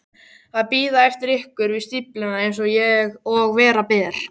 Að bíða eftir ykkur við stífluna eins og vera ber.